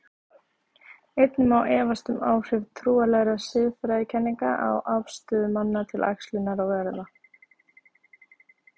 Einnig má efast um áhrif trúarlegra siðfræðikenninga á afstöðu manna til æxlunar og erfða.